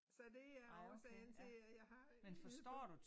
Så det er årsagen til at jeg har øh det